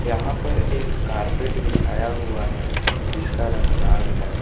यहां पर एक कारपेट बिछाया हुआ है जिसका रंग लाल है।